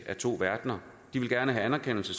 så